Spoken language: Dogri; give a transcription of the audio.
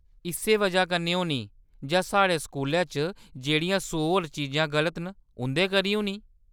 इस्सै वजह कन्नै होनी जां साढ़े स्कूलै च जेह्ड़ियां सौ होर चीजां गलत न, उं'दे करी होनी ।